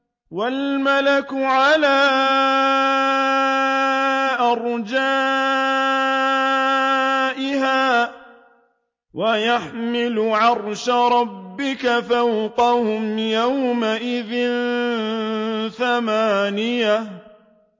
وَالْمَلَكُ عَلَىٰ أَرْجَائِهَا ۚ وَيَحْمِلُ عَرْشَ رَبِّكَ فَوْقَهُمْ يَوْمَئِذٍ ثَمَانِيَةٌ